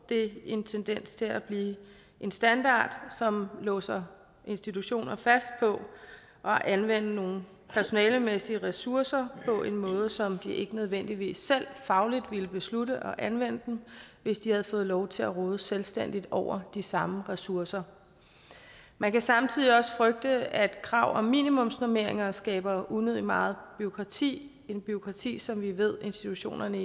en tendens til at blive en standard som låser institutionerne fast på at anvende nogle personalemæssige ressourcer på en måde som de ikke nødvendigvis selv fagligt ville beslutte at anvende dem hvis de havde fået lov til at råde selvstændigt over de samme ressourcer man kan samtidig også frygte at et krav om minimumsnormeringer skaber unødigt meget bureaukrati et bureaukrati som vi ved institutionerne